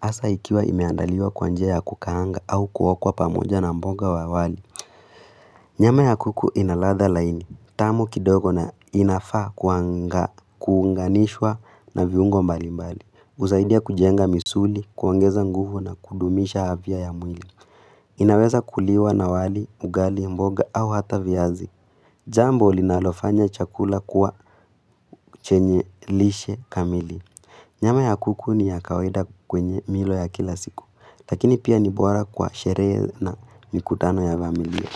Hasa ikiwa imeandaliwa kwanjia ya kukahangwa au kuokwa pamoja na mboga wa wali. Nyama ya kuku inaladha laini. Tamu kidogo na inafaa kuunganishwa na viungo mbalimbali. Husaidia kujenga misuli, kuangeza nguvu na kudumisha afya ya mwili. Inaweza kuliwa na wali, ugali, mboga au hata viazi. Jambo linalofanya chakula kuwa chenye lishe kamili. Nyama ya kuku ni ya kawaida kwenye milo ya kila siku, lakini pia ni bwara kwa sheree na mikutano ya familia.